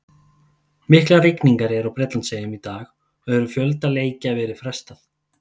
Miklar rigningar eru á Bretlandseyjum í dag og hefur fjölda leikja verið frestað.